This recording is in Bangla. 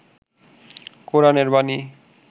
কোরআন এর বাণী